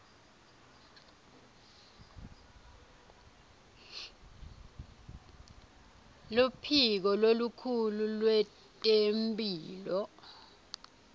luphiko lolukhulu lwetemphilo